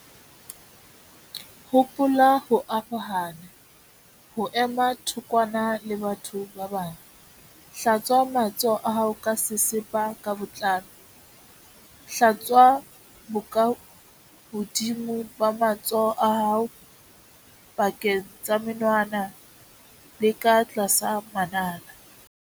Hopola ho arohana, ho ema thokwana le batho ba bang. Hlatswa matsoho a hao ka sesepa ka botlalo. Hlatswa bokahodimo ba matsoho a hao, pakeng tsa menwana le ka tlasa manala.